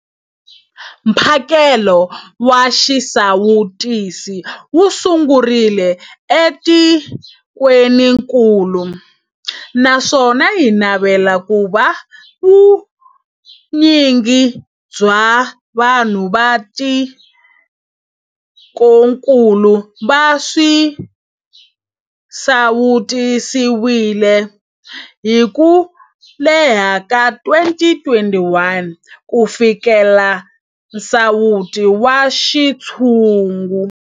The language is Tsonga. Mphakelo wa xisawutisi wu sungurile etikwenikulu naswona hi navela ku va vu nyingi bya vanhu va tikokulu va sawutisiwile hi ku hela ka 2021 ku fikelela nsawuto wa xintshungu.